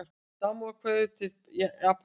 Samúðarkveðjur til Japana